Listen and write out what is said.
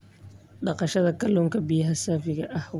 Dhaqashada kalluunka biyaha saafiga ah waa il dhaqaale.